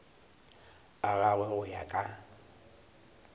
a gagwe go ya ka